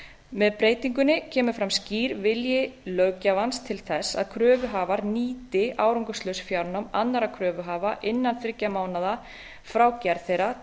með breytingunni kemur fram skýr vilji löggjafans til þess að kröfuhafar nýti árangurslaus fjárnám annarra kröfuhafa innan þriggja mánaða frá gerð þeirra